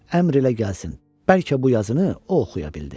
Əmr elə gəlsin, bəlkə bu yazını o oxuya bildi.